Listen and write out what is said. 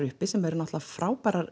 uppi sem eru náttúrulega frábærar